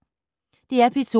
DR P2